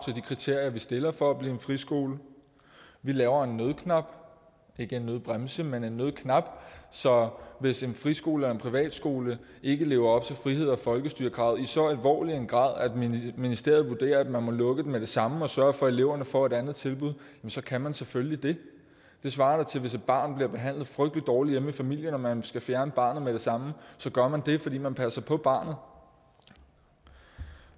de kriterier vi stiller for at blive en friskole vi laver en nødknap ikke en nødbremse men en nødknap så hvis en friskole eller en privatskole ikke lever op til frihed og folkestyre kravet i så alvorlig en grad at ministeriet vurderer at man må lukke den med det samme og sørge for at eleverne får et andet tilbud ja så kan man selvfølgelig det det svarer da til hvis et barn bliver behandlet frygtelig dårligt hjemme i familien og man skal fjerne barnet med det samme så gør man det fordi man passer på barnet